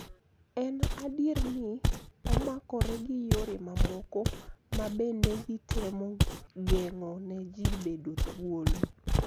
En adier ni omakore gi yore mamoko ma bende gitemo geng'o ne ji bedo thuolo.